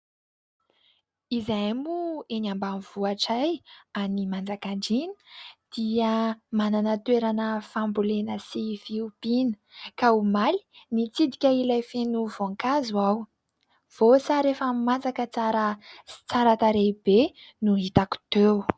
Izahay moa eny ambanivohitray any Manjakandriana dia manana toerana fambolena sy fiompiana, ka omaly nitsidika ilay feno voankazo aho. Voasary efa masaka tsara sy tsara tarehy be no hitako teo.